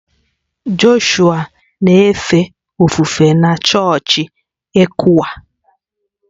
Joshua na-efe ofufe na chọọchị ECWA